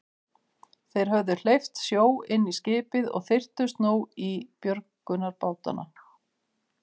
Þeir höfðu hleypt sjó inn í skipið og þyrptust nú í björgunarbátana.